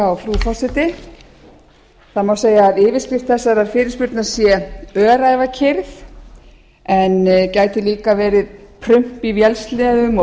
frú forseti segja má að yfirskrift þessarar fyrirspurnar sé öræfakyrrð en gæti líka verið prump í vélsleðum og